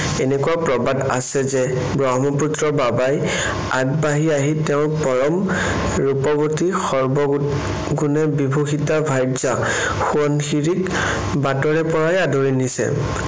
এনেকুৱা প্ৰবাদ আছে যে ব্ৰহ্মপুত্ৰ বাবাই আগবাঢ়ি আহি তেওঁৰ পৰম ৰূপৱতী, সৰ্বগুণে বিভূষিতা ভাৰ্যা সোৱণশিৰিক বাটৰে পৰাই আদৰি নিছে।